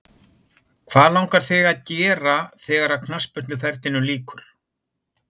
Hvað langar þig að gera þegar að knattspyrnuferlinum líkur?